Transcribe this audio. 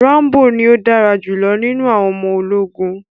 Rambo ní o dára julọ nínú àwọn ọmọ ológun.